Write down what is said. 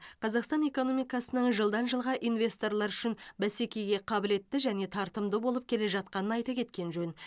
қазақстан экономикасының жылдан жылға инвесторлар үшін бәсекеге қабілетті және тартымды болып келе жатқанын айта кеткен жөн